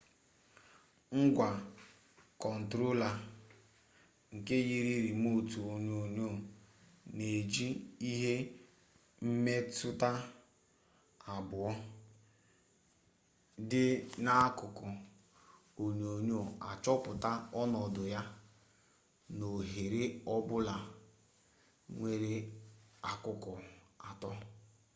ngwa kọntrola nke yiri rimotu onyonyo na-eji ihe mmetụta abụọ dị n'akụkụ onyonyo achọpụta ọnọdụ ya n'oghere ọbụla nwere akụkụ atọ